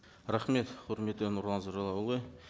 рахмет құрметті нұрлан зайроллаұлы